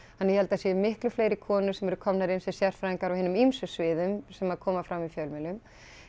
ég held að það séu miklu fleiri konur sem eru komnar inn sem sérfræðingar á hinum ýmsu sviðum sem að koma fram í fjölmiðlum